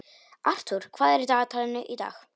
Arthur, hvað er í dagatalinu í dag?